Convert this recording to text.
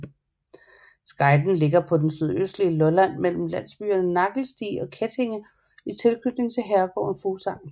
Skejten ligger på det sydøstlige Lolland mellem landsbyerne Nagelsti og Kettinge i tilknytning til herregården Fuglsang